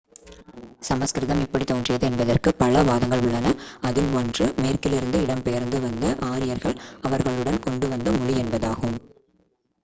சமஸ்கிருதம் எப்படி தோன்றியது என்பதற்கு பல வாதங்கள் உள்ளன. அதில் ஒன்று one மேற்கிலிருந்து இடம்பெயர்ந்து வந்த ஆரியர்கள் அவர்களுடன் கொண்டு வந்த மொழி என்பதாகும்